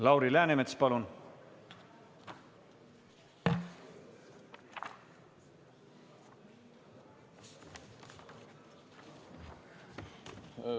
Lauri Läänemets, palun!